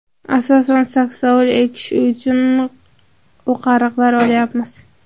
Asosan saksovul ekish uchun o‘qariqlar olyapmiz.